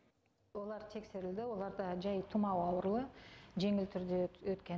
олар тексерілді оларда жай тұмау ауруы жеңіл түрде өткен